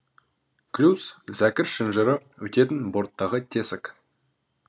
клюз зәкір шынжыры өтетін борттағы тесік